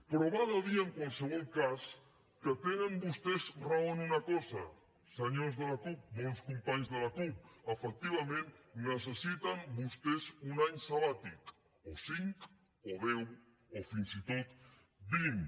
però val a dir en qualsevol cas que tenen vostès raó en una cosa senyors de la cup bons companys de la cup efectivament necessiten vostès un any sabàtic o cinc o deu o fins i tot vint